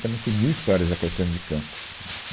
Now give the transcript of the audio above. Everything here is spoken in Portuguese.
Também tem mil histórias da Caetano de Campos.